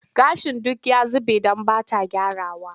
Gashin duk ya zube don ba ta gyrawa.